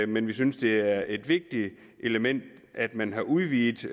men vi synes det er et vigtigt element at man har udvidet